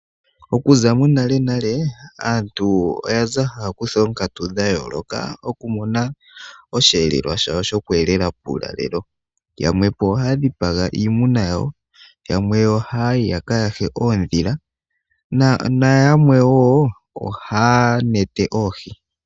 Okuza monalenale aantu oyaza haya kutha oonkatu dha yooloka okumona osheelelwa shawo shokweelela puulalelo. Yamwepo ohaya dhipagapo iimuna yawo, yamwe ohaayi yaka yahe oodhila nayamwe wo ohaya nete oohi.